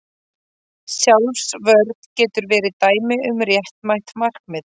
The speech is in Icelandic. Sjálfsvörn getur verið dæmi um réttmætt markmið.